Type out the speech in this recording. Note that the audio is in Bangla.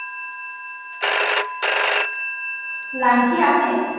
line কি আছে?